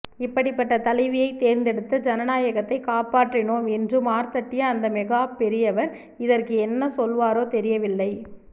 இப்படிப்பட்ட தலைவியை தேர்ந்தெடுத்து ஜனநாயகத்தை காப்பாற்றினோம் என்று மார்தட்டிய அந்த மெகா பெரியவர் இதற்கு என்ன சொல்வாரோ தெரியவில்லை